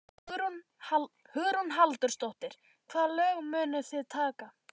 Hugrún Halldórsdóttir: Hvaða lög munuð þið taka?